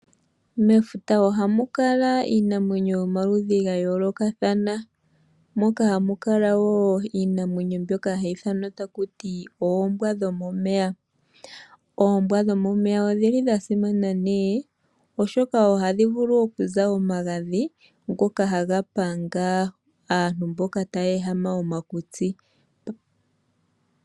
Mefuta ohamu kala iinamwenyo yomaludhi ga yoolokathana, moka hamu kala woo iinamwenyo mbyoka hayi ithanwa taku ti oombwa dhomomeya. Oombwa dhomomeya odha simana, oshoka ohadhi vulu okuza omagadhi ngoka haga panga aantu mboka taya ehama omakutsi.